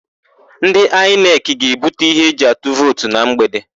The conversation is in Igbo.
Ndị Aịnekị ga-ebuta íhé eji atụ vootu na mgbede.